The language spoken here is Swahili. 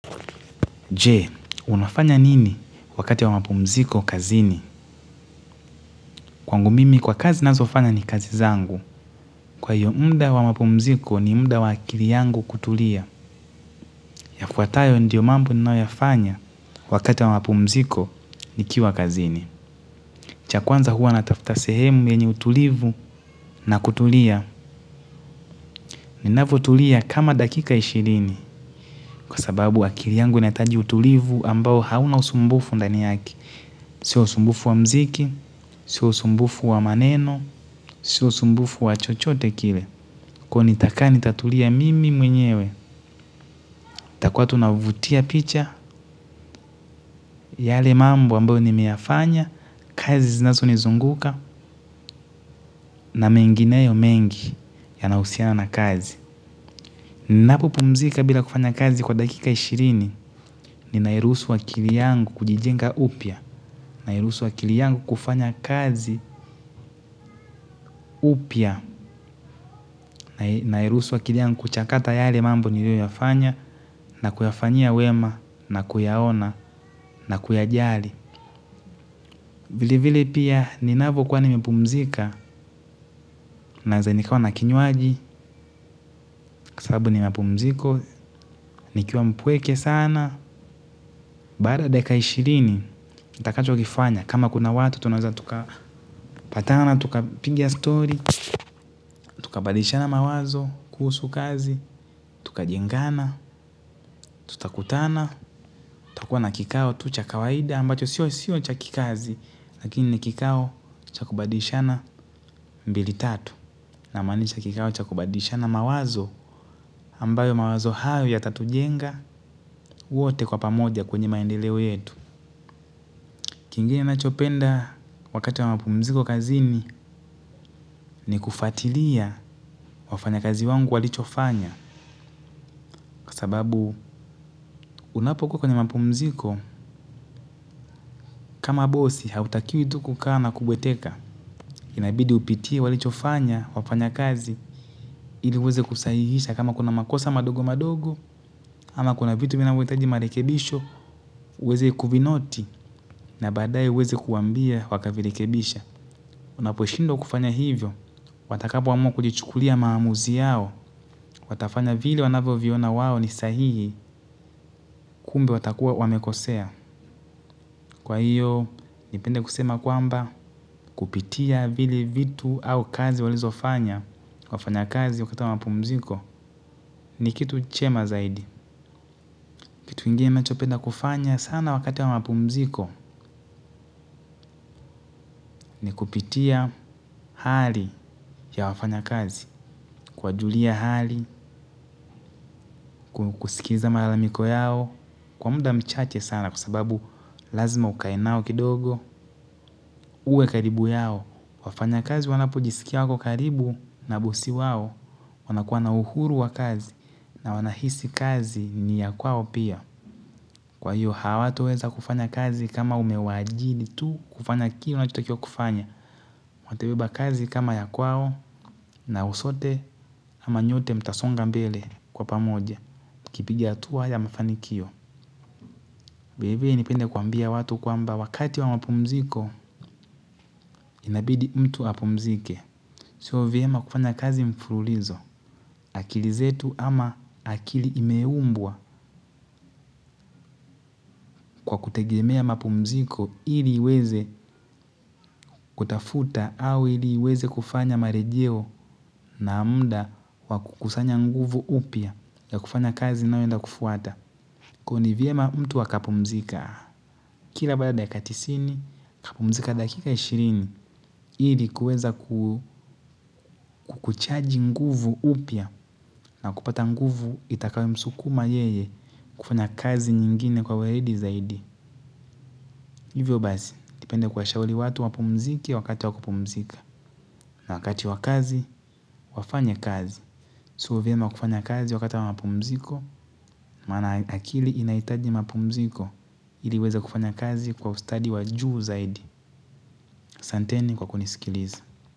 Je, unafanya nini wakati wa mapumziko kazini? Kwangu mimi kwa kazi nazofanya ni kazi zangu. Kwa hiyo mda wa mapumziko ni mda wa akili yangu kutulia. Yafuatayo ndiyo mambo ni nao yafanya wakati wa mapumziko ni kiwa kazini. Cha kwanza huwa natafta sehemu yenye utulivu na kutulia. Ninavutulia kama dakika ishirini kwa sababu akili yangu netaji utulivu ambao hauna usumbufu ndaniyaki. Sio usumbufu wa mziki, sio usumbufu wa maneno, sio usumbufu wa chochote kile. Kwa hio nitakaa nitatulia mimi mwenyewe ntakuwa tu navutia picha yale mambo ambayo nimeyafanya kazi zinazo nizungukz nz mengineo mengi yanayohusiana na kazi. Napuo pumzika bila kufanya kazi kwa dakika ishirini, ni nairuhusu wa kili yangu kujijenga upya. Nairuhusu wa kiliyangu kufanya kazi upya. Nairuhusu wa kiliyangu kuchakata yale mambo nilio yafanya nakuyafanyia wema nakuyaona na kuyajali. Vile vile pia, ninavo kwa nimepumzika. Naezanikawa na kinywaji, sababu nimapumziko. Nikiwa mpweke sana. Baada ya dakika ishirini, takacho kifanya kama kuna watu, tunaeza tuka patana, tuka piga story. Tuka badilishana mawazo, kusu kazi. Tukajengana, tutakutana, takuwa na kikao tucha kawaida ambacho sio sio cha kikazi. Lakini ni kikao cha kubadishana mbili tatu. Na manisha kikao cha kubadishana mawazo ambayo mawazo hayo ya tatujenga wote kwa pamoja kwenye maendeleo yetu. Kingine nachopenda wakati wa mapumziko kazini ni kufatilia wafanya kazi wangu walichofanya. Kwa sababu unapokuwa kwenye mapumziko, kama bosi hautakiwa tu kuka na kubweteka. Inabidi upitie walichofanya, wafanya kazi, iliweze kusahihisha kama kuna makosa madogo madogo. Ama kuna vitu vinavyotaji marekebisho, uweze kuvinoti na badae uweze kuambia waka vilekebisha. Unaposhindwa kufanya hivyo, watakapoamua kujichukulia maamuzi yao. Watafanya vili wanavyo viona wawo ni sahihi kumbe watakuwa wamekosea. Kwa hiyo, nipende kusema kwamba kupitia vile vitu au kazi walizo fanya wa fanya kazi wakatakapumziko ni kitu chema zaidi. Kitu kingine mechopenda kufanya sana wakati wa mapumziko ni kupitia hali ya wafanya kazi. Kuwa julia hali, kusikiza malalamiko yao, kwa muda mchache sana kusababu lazima ukae nao kidogo. Uwe karibu yao, wafanya kazi wanapojisikia wako karibu na bosi wao. Wanakuwa na uhuru wa kazi na wanahisi kazi ni ya kwao pia. Kwa hiyo hawatoweza kufanya kazi kama umewajiri tu kufanya kile wanachota kiwa kufanya watabeba kazi kama ya kwao na usote ama nyote mtasonga mbele kwa pamoja. Kipiga hatua ya mafanikio vile vile nipende kuambia watu kwa mba wakati wa mapumziko inabidi mtu apumzike. Sio vyema kufanya kazi mfululizo. Akili zetu ama akili imeumbwa kwa kutegemea mapumziko ili iweze kutafuta au ili iweze kufanya marejeo na mda wakukusanya nguvu upya ya kufanya kazi nayoenda kufuata. Kwa huo ni viema mtu wakapumzika, kila balada ya katisini, kapumzika dakika ishirini, ili kuweza kukuchaji nguvu upya na kupata nguvu itakawi msukuma yeye kufanya kazi nyingine kwa weledi zaidi. Hivyo basi, ngependa kuwa shauli watu wapumzike wakati wa kupumzika. Na wakiati wa kazi wafanye kazi sio vyeema kufanya kazi wakata wa mapumziko, mana akili inaitaji mapumziko iliweza kufanya kazi kwa ustadi wa juu zaidi. Santeni kwa kunisikilizi.